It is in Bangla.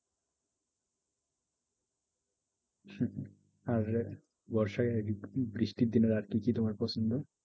আর বর্ষায় বৃষ্টির দিনে আর কি কি তোমার পছন্দ?